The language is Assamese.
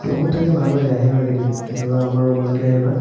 room ত থাকি ভাল লাগে আহিবা কেতেব ~ কেতিয়াবা আমাৰ room লৈকে আহিবা